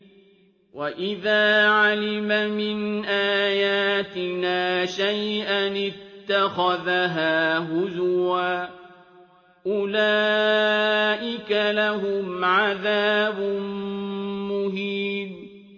وَإِذَا عَلِمَ مِنْ آيَاتِنَا شَيْئًا اتَّخَذَهَا هُزُوًا ۚ أُولَٰئِكَ لَهُمْ عَذَابٌ مُّهِينٌ